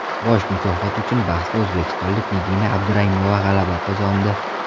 Bosh mukofot uchun bahsda o‘zbekistonlik Nigina Abduraimova g‘alaba qozondi.